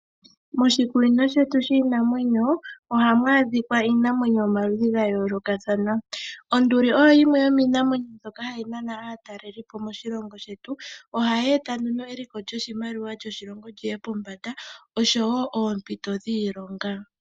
Moshikunino shetu shiinamwenyo ohamu adhika iinamwenyo yomaludhi gayoolokathana. Onduli oyo yimwe yomiinamwenyo mboka hayi nana aatalelipo moshilongo shetu . Ohayi eta eliko lyoshimaliwa shoshilongo lyiye pombanda. Ohayi eta woo oompito dhiilonga.